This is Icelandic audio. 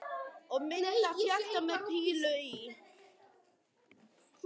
Og mynd af hjarta með pílu í.